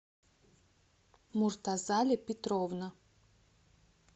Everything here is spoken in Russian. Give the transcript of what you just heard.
муртазали петровна